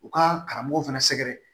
U ka karamɔgɔw fana sɛgɛrɛ